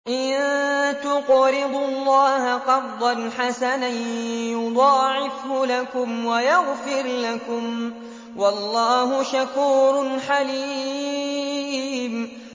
إِن تُقْرِضُوا اللَّهَ قَرْضًا حَسَنًا يُضَاعِفْهُ لَكُمْ وَيَغْفِرْ لَكُمْ ۚ وَاللَّهُ شَكُورٌ حَلِيمٌ